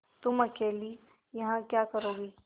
तुम अकेली यहाँ क्या करोगी